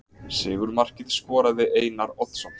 Sigurmarkið skoraði Einar Oddsson.